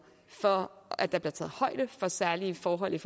for at der bliver taget højde for særlige forhold i